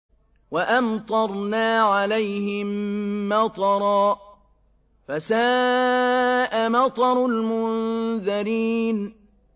وَأَمْطَرْنَا عَلَيْهِم مَّطَرًا ۖ فَسَاءَ مَطَرُ الْمُنذَرِينَ